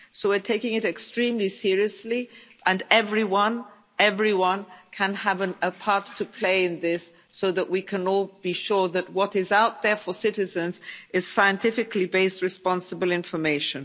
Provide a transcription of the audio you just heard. We're taking it extremely seriously and everyone everyone has a part to play in this, so we can all be sure that what is out there for citizens is scientifically based responsible information.